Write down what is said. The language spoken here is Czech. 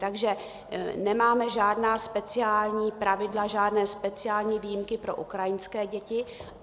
Takže nemáme žádná speciální pravidla, žádné speciální výjimky pro ukrajinské děti.